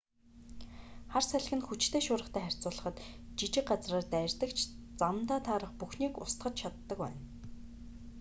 хар салхи нь хүчтэй шуургатай харьцуулахад жижиг газраар дайрдаг ч замдаа таарах бүхнийг устгаж чаддаг байна